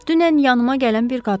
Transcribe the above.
Dünən yanıma gələn bir qadınındır.